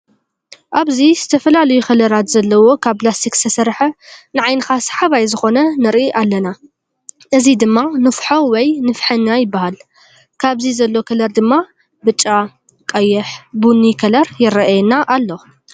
ኣብዚ ዝተፈላለዩ ከላት ዘለዎ ካብ ላሰቲክ ዝተሰርሓ ንዓይንካ ሰሓባይ ዝኮነ ንርኢ ኣለና። እዚ ድማ ንፍሖ ወይ ንፍሕኛ ይባሃል። ኣብዚ ዘሎ ከለር ድማ ብጫ፣ ቀይሕ ፣ቡኒ ከለር ይረአየና ኣሎ።